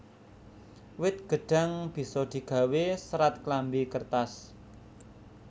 Wit gêdhang bisa digawé sêrat klambi kêrtas